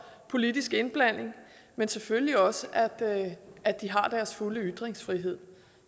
politisk indblanding men selvfølgelig også at de har deres fulde ytringsfrihed